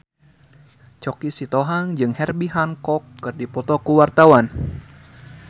Choky Sitohang jeung Herbie Hancock keur dipoto ku wartawan